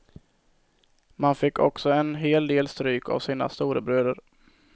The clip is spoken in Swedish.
Man fick också en hel del stryk av sina storebröder.